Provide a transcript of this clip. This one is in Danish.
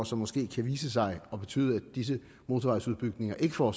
som måske kan vise sig at betyde at disse motorvejsudbygninger ikke får